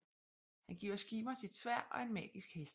Han giver Skirner sit sværd og en magisk hest